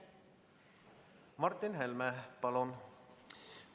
Martin Helme, palun!